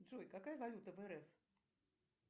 джой какая валюта в рф